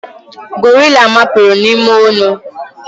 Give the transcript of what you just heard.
gorilla mapuru n'ime onu